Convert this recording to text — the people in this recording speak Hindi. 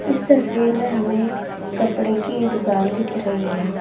इस तस्वीर में हमें कपड़े की दुकान दिख रही है।